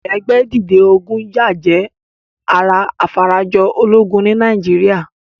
Ẹgbẹ́ dìde ogún yá jẹ́ ara afarajọ ológun ní Nàìjíríà.